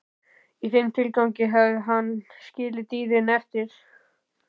Í þeim tilgangi hafði hann skilið dýrin eftir í